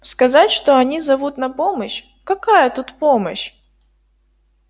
сказать что они зовут на помощь какая тут помощь